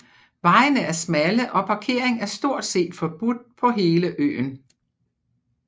Vejene er smalle og parkering er stort set forbudt på hele øen